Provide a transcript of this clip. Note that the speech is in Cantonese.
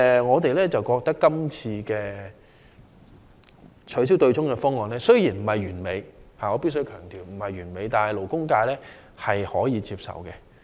我們認為，這次取消對沖的方案雖然稱不上是完美——我必須強調是不完美的——但勞工界仍可以接受。